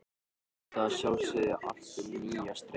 Vita að sjálfsögðu allt um nýja strauma.